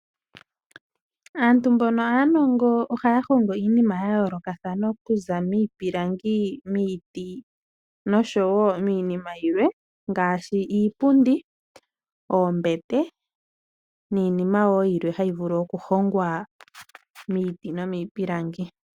Aantu mboka yena uunongo ohaya longo iinima ya yooloka okuza miipilangi, miiti osho miinima yilwe ngaashi iipundi, oombete niinima wo yilwe hayi vulu oku hongwa miiti no miipilangi.